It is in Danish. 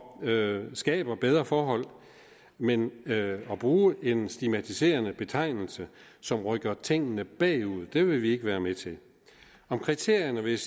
skaber bedre forhold men at bruge en stigmatiserende betegnelse som rykker tingene bagud vil vi ikke være med til om kriterierne vil